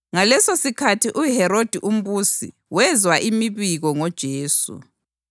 Ngalesosikhathi uHerodi umbusi wezwa imibiko ngoJesu,